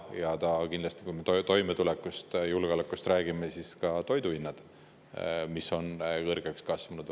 Ja kindlasti, kui me toimetulekust ja julgeolekust räägime, siis ka toidu hinnad, mis on kõrgeks kasvanud.